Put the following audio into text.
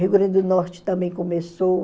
Rio Grande do Norte também começou.